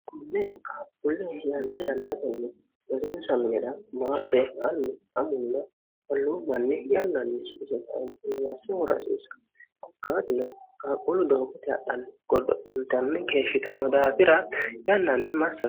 kunne qaaqquulli yanna yannatenni osinsmnidha maate allu amunna holluu manni yannanni sisenmigasse hurasiissa qokkaatino gaaqquulu doogote hadhanni godo intanni geeshshitano daafira yannanni massao